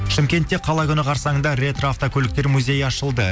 шымкентте қала күні қарсаңында ретроавтокөліктер музейі ашылды